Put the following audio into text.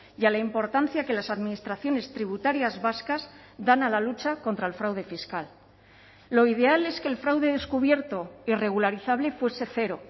y a la importancia que las administraciones tributarias vascas dan a la lucha contra el fraude fiscal lo ideal es que el fraude descubierto irregularizable fuese cero